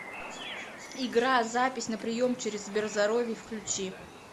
игра запись на прием через сберзоровье включи